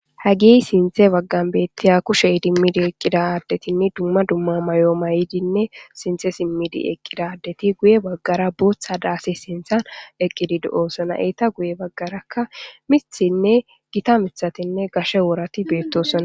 Hagi sinthe waggan beettiya kushe idimmidi eqqida addetinni dumma dumma mayo mayidinne sinthe simmidi eqqidaddeti guye baggara booththa daasi sinthan eqqidido7osona eeta guye baggarakka mithinne gita mithatinne gashe woorati beettosonna.